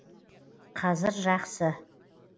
қазір жақсы